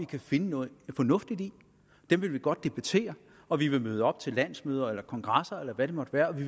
kan finde noget fornuftigt i dem vil de godt debattere og de vil møde op til landsmøder eller kongresser eller hvad det måtte være og